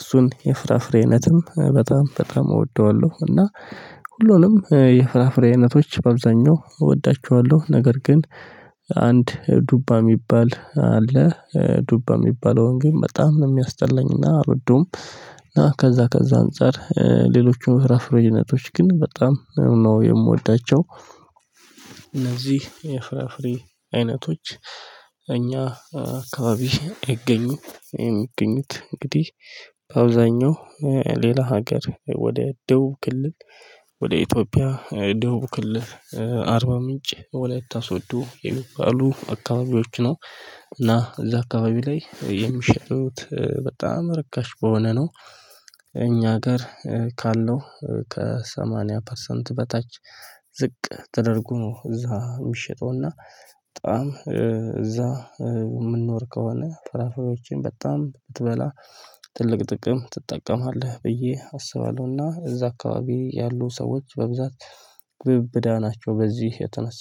እሱን የፍራፍሬ አይነትም በጣም በጣም እወደዋለሁ። እና ሁሉንም የፍራፍሬ አይነቶች በአብዛኛው እወዳቸዋለሁ። ነገር ግን አንድ ዱባ የሚባል አለ። ዱባ የሚባለውን ግን በጣም ነው የሚያስጣለኝና አልወደውም እና ከዛ ከዛ አንፃር ሌሎቹን ፍራፍረ አይነቶች ግን በጣም ነው የምወዳቸው። እነዚህ የፍራፍሬ አይነቶች እኛ አካባቢ ይገኙ የሚገኙት እንግዲህ በአብዛኛው ሌላ ሀገር ወደ ደቡብ ክልል ወደ ኢትዮጵያ ደቡብ ክልል አርባ ምንጭ ወላይታ ሰዶ የሚባሉ አካባቢዎች ነው። እና እዛ አካባቢ ላይ የሚሸጡት በጣም ርካሽ በሆነ ነው። እኛ ሀገር ካለው ከሰማንያ ፐርሰንት በታች ዝቅ ተደርጎ ነው እዛ የሚሸጠው እና። በጣም እዛ ምንኖር ከሆነ ፍራፍሬዎችን በጣም ብትበላ ትልቅ ጥቅም ትጠቀማለህ ብዬ አስባለሁና። እዛ አካባቢ ያሉ ሰዎች በብዛት ግብዳ ናቸው በዚህ የተነሳ